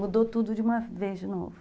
Mudou tudo de uma vez de novo.